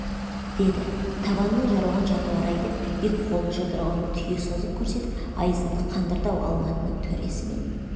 деді табанынан жарылған жануар-ай деп екі қолын жұдырығын түйе созып көрсетіп айызымды қандырды-ау алматының төресі мен